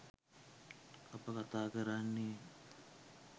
අප කතා කරන්නේ